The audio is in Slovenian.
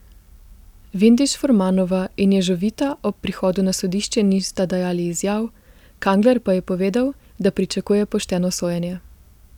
Vindiš Furmanova in Ježovita ob prihodu na sodišče nista dajati izjav, Kangler pa je povedal, da pričakuje pošteno sojenje.